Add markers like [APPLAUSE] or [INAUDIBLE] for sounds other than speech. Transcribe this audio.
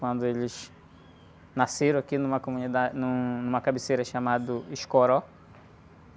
Quando eles nasceram aqui numa comunida, num, numa cabeceira chamado. [UNINTELLIGIBLE]